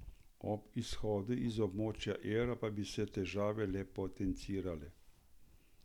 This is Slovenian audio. Ob izhodu iz območja evra pa bi se težave le potencirale.